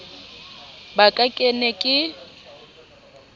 ba ka ke ne ke